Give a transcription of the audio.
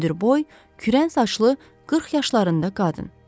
Hündürboy, kürən saçlı, 40 yaşlarında qadın.